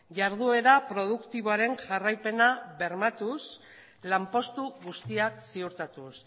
jarduera produktiboaren jarraipena bermatuz lanpostu guztiak ziurtatuz